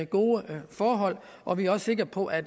gode forhold og vi er også sikre på at